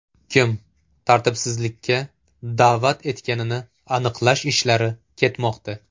Kim tartibsizlikka da’vat etganini aniqlash ishlari ketmoqda.